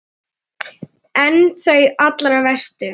En þau allra verstu?